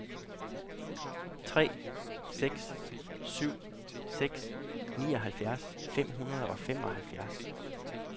tre seks syv seks nioghalvfjerds fem hundrede og femoghalvfjerds